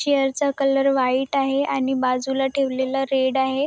Chair च colour white आहे आणि बाजूला ठेवलेल रेड आहे.